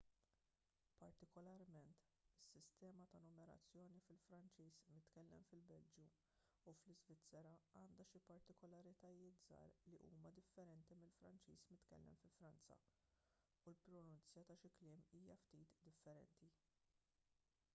partikolarment is-sistema ta' numerazzjoni fil-franċiż mitkellem fil-belġju u fl-iżvizzera għandha xi partikolaritajiet żgħar li huma differenti mill-franċiż mitkellem fi franza u l-pronunzja ta' xi kliem hija ftit differenti